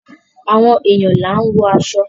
Àwọn èèyàn là ń wọ aṣọ.